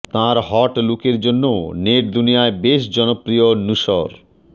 তাঁর হট লুকের জন্যও নেট দুনিয়ায় বেশ জনপ্রিয় নুসর